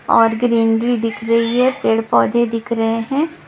और ग्रीनरी दिख रही है पेड़ पौधे दिख रहे हैं।